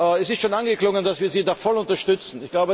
Es ist schon angeklungen, dass wir Sie da voll unterstützen.